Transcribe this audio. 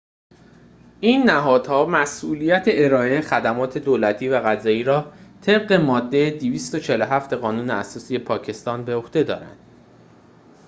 این نهادها مسئولیت ارائه خدمات دولتی و قضایی را طبق ماده ۲۴۷ قانون اساسی پاکستان به عهده دارند